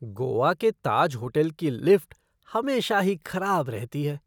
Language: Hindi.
गोवा के ताज होटल की लिफ़्ट हमेशा ही खराब रहती है।